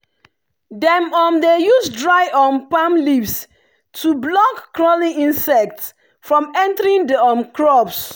dem um dey use dry um palm leaves to block crawling insects from entering the um crops.